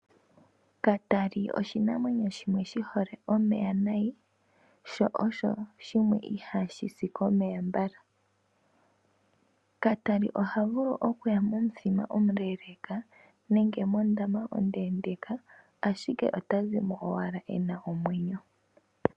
Katali oshinamwenyo shimwe shi hole omeya nayi , sho osho shimwe ihashi si komeya mbala . Katali oha vulu okuya momuthima omuleeleeka nenge mondama ondeendeeka ashike ota zimo owala e na omwenyo.